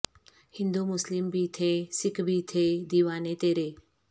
ہندو مسلم بھی تھے سکھ بھی تھے دیوانے تیرے